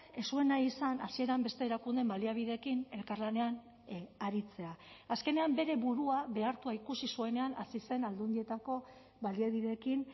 ez zuen nahi izan hasieran beste erakundeen baliabideekin elkarlanean aritzea azkenean bere burua behartua ikusi zuenean hasi zen aldundietako baliabideekin